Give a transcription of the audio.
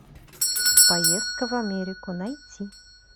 поездка в америку найти